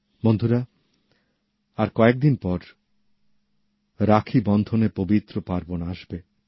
বন্ধুরা আর কয়েকদিন পর রাখীবন্ধনের পবিত্র উৎসব আসবে